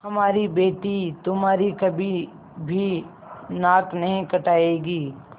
हमारी बेटी तुम्हारी कभी भी नाक नहीं कटायेगी